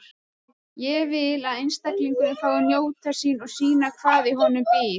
Ég vil að einstaklingurinn fái að njóta sín og sýna hvað í honum býr.